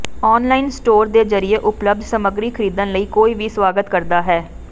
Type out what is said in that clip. online store ਦੇ ਜ਼ਰੀਏ ਉਪਲੱਬਧ ਸਮੱਗਰੀ ਖਰੀਦਣ ਲਈ ਕੋਈ ਵੀ ਸਵਾਗਤ ਕਰਦਾ ਹੈ